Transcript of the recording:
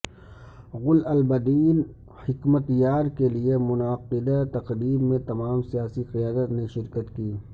گل البدین حکمت یار کے لیے منعقدہ تقریب میں تمام سیاسی قیادت نے شرکت کی